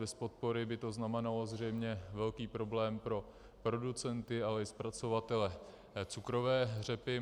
Bez podpory by to znamenalo zřejmě velký problém pro producenty, ale i zpracovatele cukrové řepy.